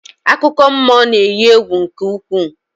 Akụkọmmụọ na-eyi egwu nke ukwuu